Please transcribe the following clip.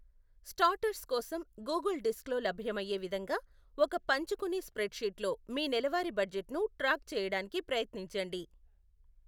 Starters కోసం, Google డిస్క్లో లభ్యమయ్యే విధంగా ఒక పంచుకునే స్ప్రెడ్షీట్లో మీ నెలవారీ బడ్జెట్ను ట్రాక్ చేయడానికి ప్రయత్నించండి.